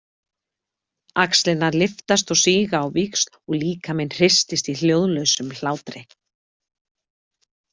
Axlirnar lyftast og síga á víxl og líkaminn hristist í hljóðlausum hlátri.